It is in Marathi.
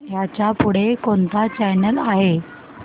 ह्याच्या पुढे कोणता चॅनल आहे